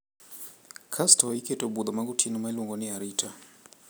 Kasto iketo budho magotieno ma iluongo ni arita.